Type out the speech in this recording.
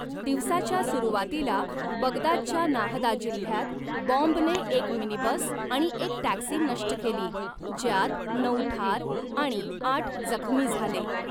दिवसाच्या सुरुवातीला, बगदादच्या नाहदा जिल्ह्यात बॉम्बने एक मिनीबस आणि एक टॅक्सी नष्ट केली, ज्यात नऊ ठार आणि आठ जखमी झाले.